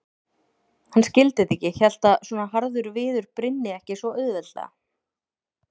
Hann skildi þetta ekki, hélt að svona harður viður brynni ekki svo auðveldlega.